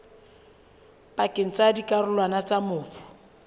pakeng tsa dikarolwana tsa mobu